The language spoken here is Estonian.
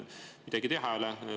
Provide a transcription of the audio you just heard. Midagi teha ei ole.